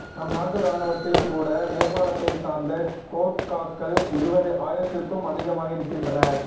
நம் நாட்டு ராணுவத்தில் கூட நேபாளத்தை சார்ந்த கோர்க்காக்கள் இருவது ஆயிரத்திற்கும் அதிகமாக இருக்கின்றனர்